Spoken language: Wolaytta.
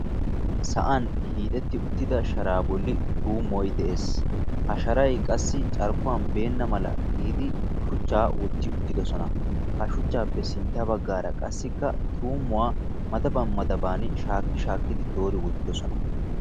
sa'an hiixetti uttida sharaa bolli tuumoy de'ees. ha sharay qassi carkkuwan beenna mala shuchaa wotidosona. shuchaappe sinta bagaara qassi tuumuwa madaban madaban doori wotidosona.